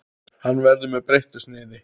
Hann verður með breyttu sniði.